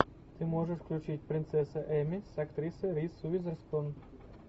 ты можешь включить принцесса эмми с актрисой риз уизерспун